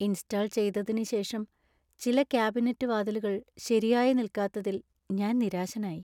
Install ചെയ്തതിന് ശേഷം ചില കാബിനറ്റ് വാതിലുകൾ ശരിയായി നിൽക്കാത്തത്തിൽ ഞാൻ നിരാശനായി.